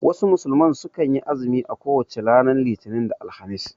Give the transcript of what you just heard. Wasu musulmai sukan yi azumi a kowace ranar Litinin da Alhamis